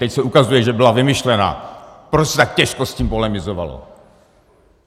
Teď se ukazuje, že byla vymyšlená, proto se tak těžko s tím polemizovalo.